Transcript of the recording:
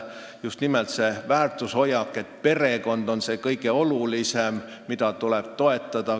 Just nimelt seda väärtushoiakut, et perekond on kõige olulisem, tuleb toetada.